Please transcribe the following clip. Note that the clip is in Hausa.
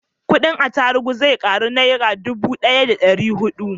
kudin atarubu zai karu daga nera dubu daya da dari hudu